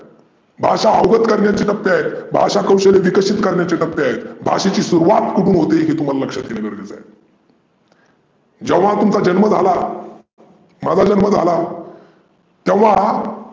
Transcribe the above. भाषा अवघत करण्याचे टप्पे आहेत. भाषा कौशल्य विकसीत करण्याचे टप्पे आहेत. भाषेची सूरवात उठून होते हे तुम्हाला लक्षात घेने गरजेचं आहे. जेव्हा तुमचा जन्म झाला माझा जन्म झाला तेव्हा